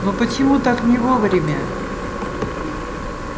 но почему так не вовремя